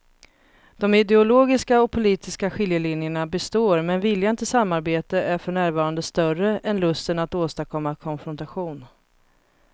De ideologiska och politiska skiljelinjerna består men viljan till samarbete är för närvarande större än lusten att åstadkomma konfrontation.